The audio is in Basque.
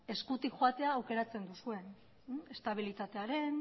eskutik joateko aukeratzen duzuen estabilitatearen